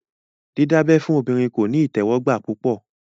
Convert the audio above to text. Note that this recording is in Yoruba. Dídábẹ́ fún obìnrin kò ní ìtẹ́wọ́gbà púpọ̀